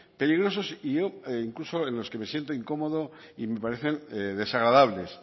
peligrosos donde yo incluso en los que me siento incómodo y me parecen desagradables